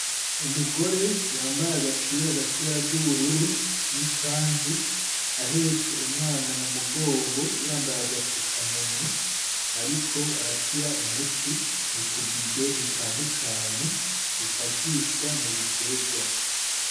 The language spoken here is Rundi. Umugore yambaye agapira gafise ibara ry’ubururu n’ikanzu ahetse umwana mu mugongo yambaye agafukamunwa ariko arashira umuti mu tubido dutandukanye ufashishwa mu bitegwa.